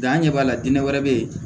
Dan ɲɛ b'a la dinɛ wɛrɛ bɛ yen